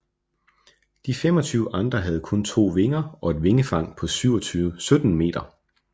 De 25 andre havde kun to vinger og et vingefang på 17 meter